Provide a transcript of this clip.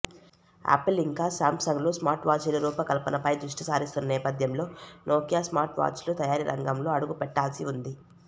Apple ఇంకా సామ్సంగ్లు smart వాచీల రూపకల్పన పై దృష్టిసారిస్తున్న నేపధ్యంలో నోకియా స్మార్ట్వాచ్ల తయారీ రంగంలో అడుగుపెట్టాల్సి ఉంది